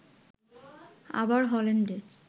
আবার হল্যান্ডের